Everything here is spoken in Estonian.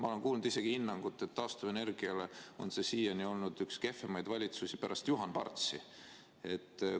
Ma olen kuulnud isegi hinnangut, et taastuvenergiale on see siiani olnud üks kehvemaid valitsusi pärast Juhan Partsi valitsust.